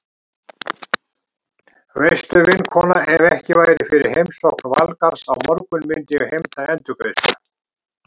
Veistu vinkona, ef ekki væri fyrir heimsókn Valgarðs á morgun myndi ég heimta endurgreiðslu.